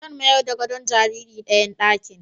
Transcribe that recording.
Zan mayar da gadon jariri dayan ɗakin